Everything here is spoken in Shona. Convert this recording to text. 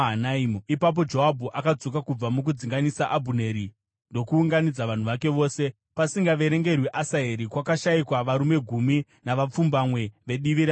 Ipapo Joabhu akadzoka kubva mukudzinganisa Abhuneri ndokuunganidza vanhu vake vose. Pasingaverengerwi Asaheri, kwakashayikwa varume gumi navapfumbamwe vedivi raDhavhidhi.